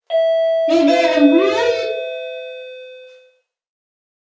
Við erum hún.